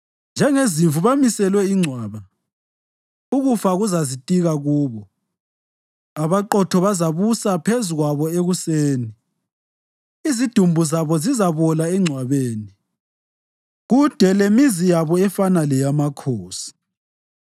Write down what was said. Njengezimvu bamiselwe ingcwaba, ukufa kuzazitika kubo. Abaqotho bazabusa phezu kwabo ekuseni; izidumbu zabo zizabola engcwabeni, kude lemizi yabo efana leyamakhosi.